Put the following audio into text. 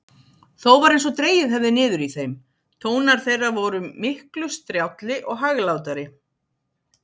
Þó var einsog dregið hefði niður í þeim: tónar þeirra vor miklu strjálli og hæglátari.